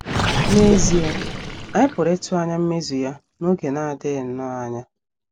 N’ezie, anyị pụrụ ịtụ anya mmezu ya n’oge na - adịghị nnọọ anya.